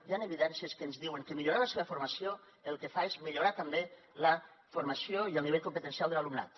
hi han evidències que ens diuen que millorar la seva formació el que fa és millorar també la formació i el nivell competencial de l’alumnat